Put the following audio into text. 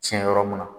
Tiɲɛ yɔrɔ mun na